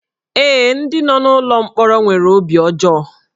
Ee, ndị nọ n'ụlọ mkpọrọ nwere obi ọjọọ